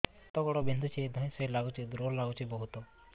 ହାତ ଗୋଡ ବିନ୍ଧୁଛି ଧଇଁସଇଁ ଲାଗୁଚି ଦୁର୍ବଳ ଲାଗୁଚି ବହୁତ